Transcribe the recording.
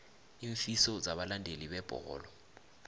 iinfiso zabalandeli bebholo